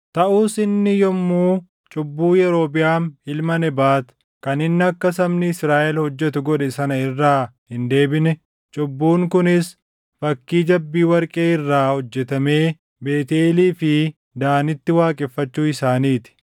Taʼus inni iyyuu cubbuu Yerobiʼaam ilma Nebaat kan inni akka sabni Israaʼel hojjetu godhe sana irraa hin deebine; cubbuun kunis fakkii jabbii warqee irraa hojjetamee Beetʼeelii fi Daanitti waaqeffachuu isaanii ti.